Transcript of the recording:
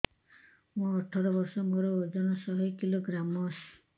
ମୁଁ ଅଠର ବର୍ଷ ମୋର ଓଜନ ଶହ କିଲୋଗ୍ରାମସ